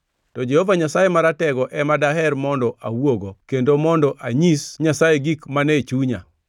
To Jehova Nyasaye Maratego ema daher mondo awuogo kendo mondo anyis Nyasaye gik mane chunya.